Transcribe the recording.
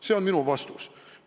See on minu vastus.